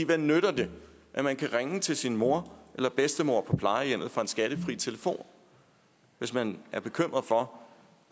hvad nytter det at man kan ringe til sin mor eller bedstemor på plejehjemmet fra en skattefri telefon hvis man er bekymret for